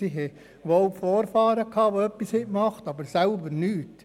Sie haben zwar Vorfahren, die etwas geleistet haben, sie selber jedoch nicht.